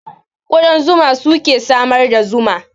Ƙudan zuma suke samar da zuma